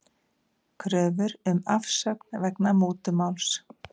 Kröfur um afsögn vegna mútumáls